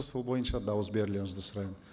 сол бойынша дауыс берулеріңізді сұраймын